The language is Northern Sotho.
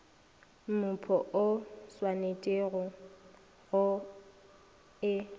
mmupo o swanetpego go e